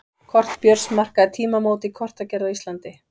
Kort Björns markaði tímamót í kortagerð á Íslandi.